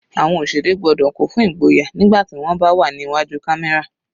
Àwọn òṣèré gbọ́dọ̀ kún fún igboyà nígbà tí wọ́n bá wà ní iwájú camera.